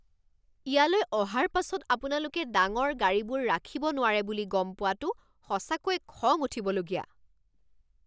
ইয়ালৈ অহাৰ পাছত আপোনালোকে ডাঙৰ গাড়ীবোৰ ৰাখিব নোৱাৰে বুলি গম পোৱাটো সঁচাকৈ খং উঠিবলগীয়া।